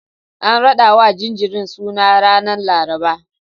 An raɗawa jinjirin suna ranar Laraba.